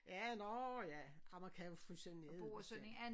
Ja nårh ja ej man kan jo fryse det ned og sådan